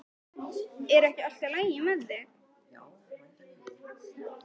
Er ekki allt lagi með þig?